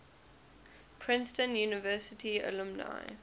princeton university alumni